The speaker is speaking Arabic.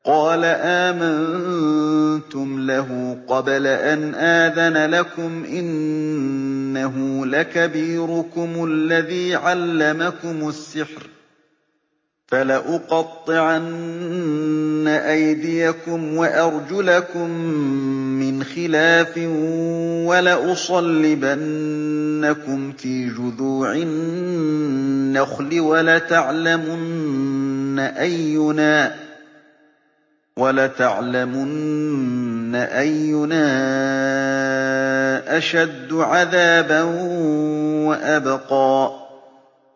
قَالَ آمَنتُمْ لَهُ قَبْلَ أَنْ آذَنَ لَكُمْ ۖ إِنَّهُ لَكَبِيرُكُمُ الَّذِي عَلَّمَكُمُ السِّحْرَ ۖ فَلَأُقَطِّعَنَّ أَيْدِيَكُمْ وَأَرْجُلَكُم مِّنْ خِلَافٍ وَلَأُصَلِّبَنَّكُمْ فِي جُذُوعِ النَّخْلِ وَلَتَعْلَمُنَّ أَيُّنَا أَشَدُّ عَذَابًا وَأَبْقَىٰ